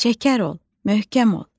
Şəkər ol, möhkəm ol!"